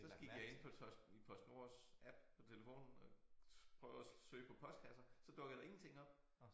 Så gik jeg ind på tås PostNords app på telefonen og prøvede at søge på postkasser så dukkede der ingenting op